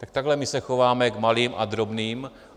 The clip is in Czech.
Tak takhle my se chováme k malým a drobným.